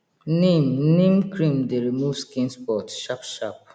neem neem cream dey remove skin spot sharp sharp